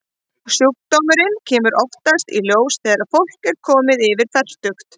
Sjúkdómurinn kemur oftast í ljós þegar fólk er komið yfir fertugt.